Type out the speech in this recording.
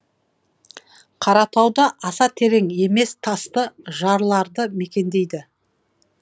қаратауда аса терең емес тасты жарларды мекендейді